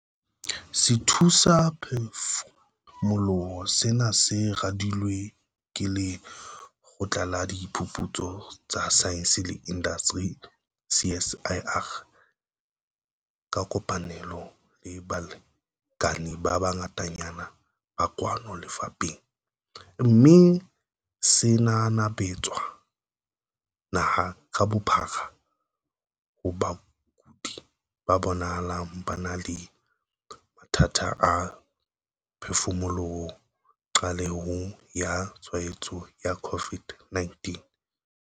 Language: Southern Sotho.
Sethusaphefumoloho sena se radilwe ke Lekgotla la Diphuputso tsa Saense le Indasteri, CSIR, ka kopanelo le balekane ba bangatanyana ba kwano lapeng, mme se nanabetswa naha ka bophara ho bakudi ba bonahalang ba na le mathata a phefumoloho qalehong ya tshwaetso ya COVID-19.